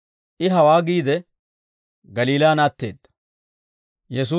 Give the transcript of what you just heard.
I hawaa giide, Galiilaan atteedda.